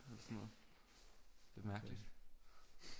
Eller sådan noget det er mærkeligt